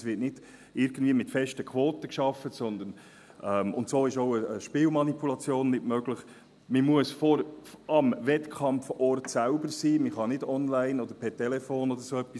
Es wird nicht irgendwie mit festen Quoten gearbeitet – und so ist auch eine Spielmanipulation nicht möglich –, sondern man muss am Wettkampfort selbst sein, man kann nicht online oder per Telefon oder so wetten.